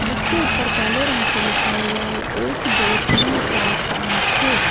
जिसके ऊपर काले रंग से लिखा हुआ है एक दो तीन चार पांच छः।